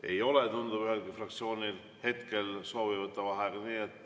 Ei ole, tundub, ühelgi fraktsioonil hetkel soovi võtta vaheaega.